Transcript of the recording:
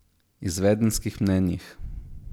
Izvedenskih mnenjih.